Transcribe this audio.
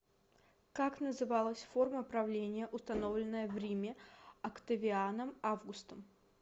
как называлась форма правления установленная в риме октавианом августом